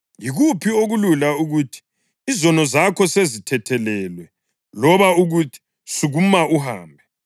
Yikuphi okulula: ukuthi, ‘Izono zakho sezithethelelwe,’ loba ukuthi, ‘Sukuma uhambe’?